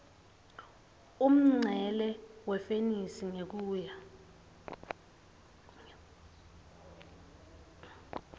umncele wefenisi ngekuya